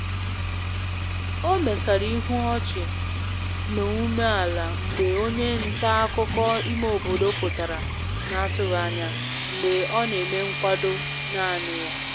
O mesara ihu ọchị na ume ala mgbe onye nta akụkọ ime obodo pụtara na atụghị anya mgbe ọ na-eme nkwado naanị ya